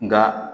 Nka